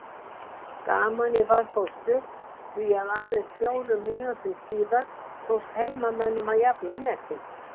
Gamanið var þó stutt því að aðeins fjórum mínútum síðar tókst heimamönnum að jafna metin.